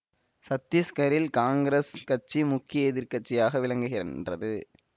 சத்தீஸ்கரில் காங்கிரஸ் கட்சி முக்கிய எதிர் கட்சியாக விளங்குகின்றது